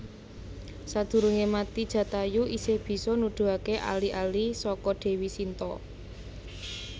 Sadurunge mati Jatayu isih bisa nuduhaké ali ali saka Dèwi Sinta